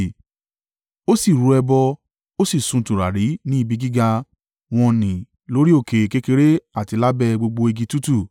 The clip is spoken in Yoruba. Ó sì rú ẹbọ, ó sì sun tùràrí ní ibi gíga wọ́n nì lórí òkè kékeré àti lábẹ́ gbogbo igi tútù.